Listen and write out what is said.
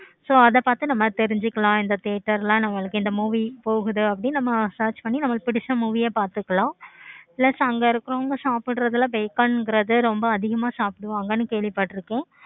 so அத பார்த்து நம்ம தெரிஞ்சிக்கலாம் இந்த theater ல எல்லாம் இந்த movie போகுது நம்ம search பண்ணி பார்த்துக்கலாம். plus அங்க இருக்கவங்க சாப்பிடுறதுலா கிறது ரொம்ப அதிகமா சாப்பிடுவாங்க கேள்வி பட்டுருக்கேன்.